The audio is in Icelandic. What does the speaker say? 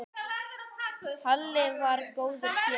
Halli var góður félagi.